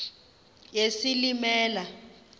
yesilimela